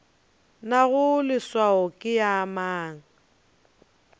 nago leswao ke ya mang